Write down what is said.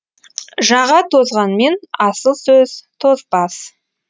жаға тозғанмен асыл сөз тозбас